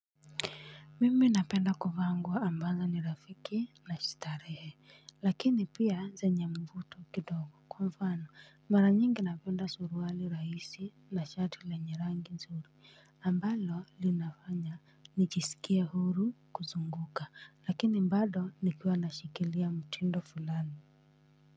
Mimi napenda kuvaa nguo ambazo ni rafiki na starehe, lakini pia zenye mvuto kidogo kwa mfano, mara nyingi napenda suruali rahisi na shati lenye rangi nzuri, ambalo linafanya nijisikie huru kuzunguka lakini bado nikiwa nashikilia mtindo fulani.